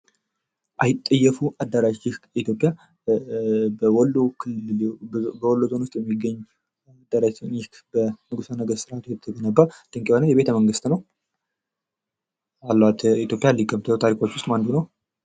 አይጠየፉ አዳራሽህ በኢትዮጵያ በወሎ ዞን ውስጥ የሚገኝ በንጉሠ ነገታት የተገነባ ድንቅ የሆነ ቤተ መንግስት ነው። ካሏት የኢትዮጵያ ቀደም ታሪኮች ውስጥ አንዱ ነው።